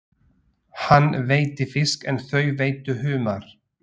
Hann veiddi fisk en þau veiddu humar.